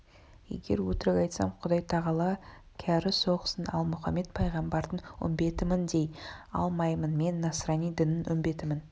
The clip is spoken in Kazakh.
егер өтірік айтсам құдайтағала кәрі соқсын ал мұхаммед пайғамбардың үмбетімін дей алмаймын мен насрани дінінің үмбетімін